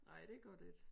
Nej det gør det ik